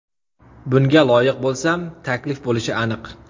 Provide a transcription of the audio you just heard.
Bunga loyiq bo‘lsam, taklif bo‘lishi aniq.